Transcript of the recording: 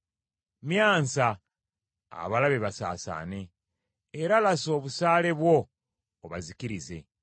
Myansa abalabe basaasaane, era lasa obusaale bwo obazikirize.